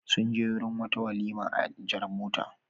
Sun je wurin wata walima a jar mota.